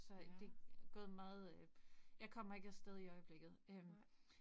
Så det gået meget øh jeg kommer ikke af sted i øjeblikket øh